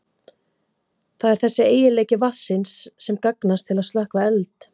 Það er þessi eiginleiki vatnsins sem gagnast til að slökkva eld.